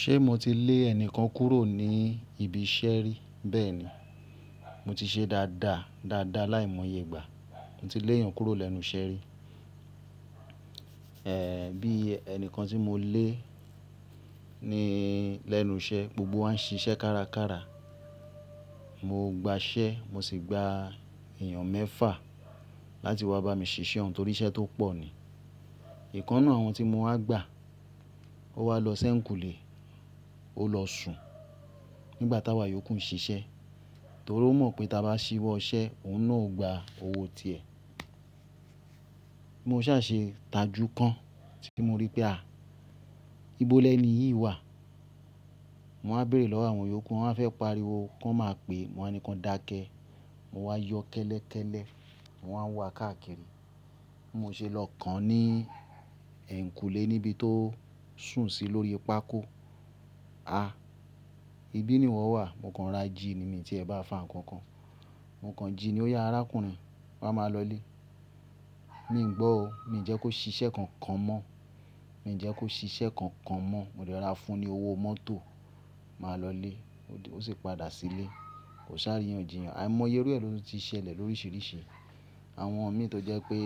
Ṣé mo ti lé ẹnìkan kúrò ní ibi iṣẹ́ rí? Bẹ́ẹ̀ni. Mo ti ṣe dáadáa láìmọye ìgbà. Mo ti léyàn kúrò lẹ́nu iṣẹ́ rí. Ee, bí ẹni kan tí mo lé ni lẹ́nu iṣẹ́, gbogbo wa ń ṣiṣẹ́ kárakára. Mo gba iṣẹ́, mo sì gbà èèyàn mẹ́fà láti wá bá mi ṣiṣẹ́, nítorí iṣẹ́ tó pọ̀ ni. Ìkan náà àwọn tí mo á gbà ó wá lọ sẹ́ ǹkùlé, ó lọ sùn nígbà tá wa yókù ń ṣiṣẹ́. Torí ó mọ̀ pé tí a bá ṣíwọ́ ọṣẹ, òun náà ó gba owó ti è. Mo ṣà ṣe ìtajú kan tí mo rí pé à, ibolẹ́ ni yìí wà. Mo máa béèrè lọ́wọ́ àwọn yókù, wọ́n a fẹ́ pariwo, wọ́n máa pè, mo máa ní kí wọn dákẹ. Mo wá yọ kẹ́lẹ́kẹ́lé, mo máa wá káàkiri. Mo ṣe lọ kàn án ní ẹ̀ńkùlé níbi tó sùn sí lórí pákó. A! Ibi ni ìwọ wà, mo kan ra jí ni mí tí ẹ bá fà nkankan. Mo kan jí ní ó ya arákùnrin, rà máa lọlé. Mi gbo o, mi jẹ́ kó ṣiṣẹ́ kankan mọ́, mi jẹ́ kó ṣiṣẹ́ kankan mọ́. Mo rí ọ wá fún ni owó mọ́tò, máa lọ lé, ó sì padà sílé. Kò sá rìnyànjìyàn. Àìmọye irú ẹ lódún ti ṣẹlẹ̀ lóríṣiríṣi. Àwọn ọmọ mì tó jẹ́ pé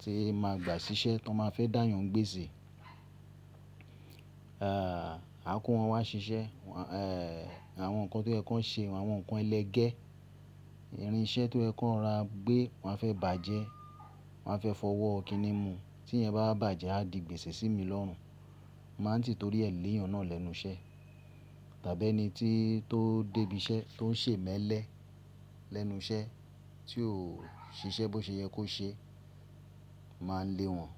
tí mà gbà ṣiṣẹ́ tí wọ́n ma fẹ́ dáyàn gbéṣe, eeh, a kó wọn wá ṣiṣẹ́. Eeh, àwọn nǹkan tí ẹ kó ṣe, àwọn nǹkan ẹlẹgẹ́, irin iṣẹ́ tí ẹ kó ra gbé, wọ́n á fẹ́ bàjẹ́, wọ́n á fẹ́ fọwọ́ kiní mu. Tí ẹ bá bàjẹ́, a di gbèsè sí mi lọ́run. Mo máa ń tìtorí ẹ léyàn náà lẹ́nu iṣẹ́. Tàbí ẹni tí tó débí iṣẹ́, tó ń ṣe emelẹ lẹ́nu iṣẹ́, tí ò ṣiṣẹ́ bó ṣe yẹ kó ṣe, màá lé wọn.